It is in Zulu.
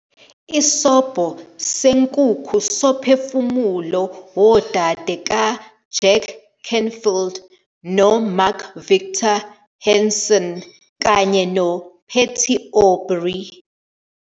Isobho Senkukhu Somphefumulo Wodade kaJack Canfield noMark Victor Hansen kanye noPatty Aubery